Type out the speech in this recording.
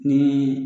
Ni